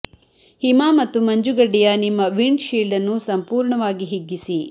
ಹಿಮ ಮತ್ತು ಮಂಜುಗಡ್ಡೆಯ ನಿಮ್ಮ ವಿಂಡ್ ಷೀಲ್ಡ್ ಅನ್ನು ಸಂಪೂರ್ಣವಾಗಿ ಹಿಗ್ಗಿಸಿ